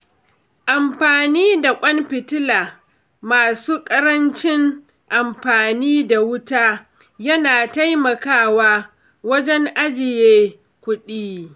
Amfani da ƙwan fitila masu ƙarancin amfani da wuta yana taimakawa wajen ajiye kuɗi.